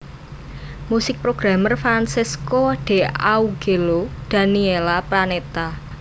Musik programmer Francesco D Augello Daniela Panetta